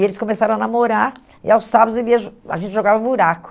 E eles começaram a namorar, e aos sábados ele ia a gente jogava buraco.